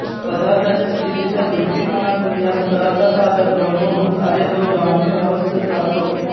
पदार्थाच्या स्थितीच्या दृष्टिकोनातून या स्तराचा साधक ब्रह्मभूत आहे तो ब्राह्मी अवस्थेत राहतो